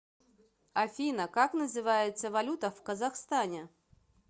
афина как называется валюта в казахстане